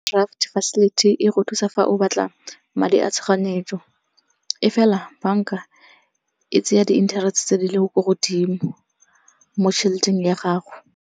Overdaft facility e go thusa fa o batla madi a tshoganyetso. E fela banka e tsenya di-interest-e tse di leng ko godimo mo tšheleteng ya gago.